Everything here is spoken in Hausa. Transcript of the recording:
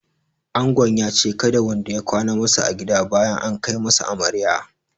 Angon ya ce kada wanda ya kwana masa a gida bayan an kai masa amarya